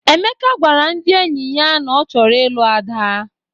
Emeka gwara ndị enyi ya na ọ chọrọ ịlụ Ada.